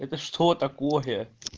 это что такое